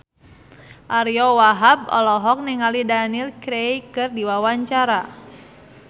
Ariyo Wahab olohok ningali Daniel Craig keur diwawancara